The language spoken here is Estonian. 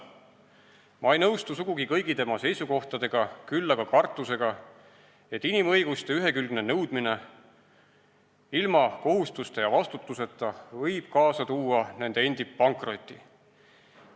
Ma ei nõustu sugugi kõigi tema seisukohtadega, küll aga kartusega, et inimõiguste ühekülgne nõudmine ilma kohustuste ja vastutuseta võib kaasa tuua nende endi pankroti.